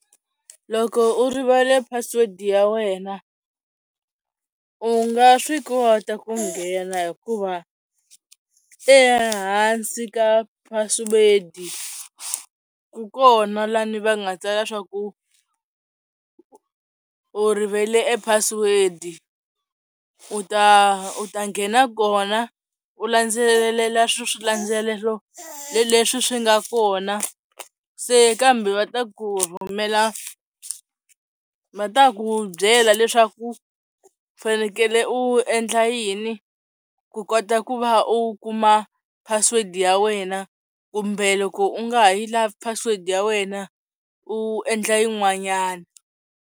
Loko u rivale password ya wena u nga swi kota ku nghena hikuva ehansi ka password ku kona lani va nga tsala leswaku u rivele epassword u ta u ta nghena kona u landzelelela swilandzelelo leswi swi nga kona, se kambe va ta ku rhumela va ta ku byela leswaku u fanekele u endla yini ku kota ku va u kuma password ya wena kumbe loko u nga ha yi lavi password ya wena u endla yin'wanyana.